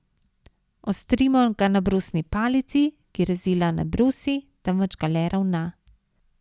Ostrimo ga na brusni palici, ki rezila ne brusi, temveč ga le ravna.